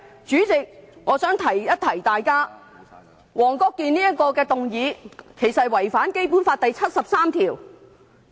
主席，我想提醒大家，黃國健議員提出的議案其實是違反了《基本法》第七十三條。